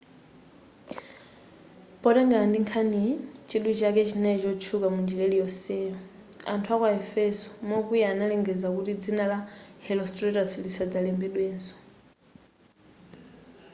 potengera ndi nkhaniyi chidwi chake chinali kutchuka munjira iliyonseyo.anthu aku aefeso mokwiya analengeza kuti dzina la herostratus lisadzalembedwenso